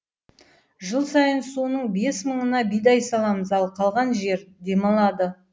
жыл сайын соның бес мыңына бидай саламыз ал қалған жер демалады